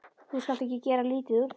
Þú skalt ekki gera lítið úr því.